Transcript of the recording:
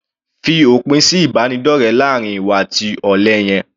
Fi òpin sí ìbánidọ́rẹ láàrin ìwọ àti olè yẹn.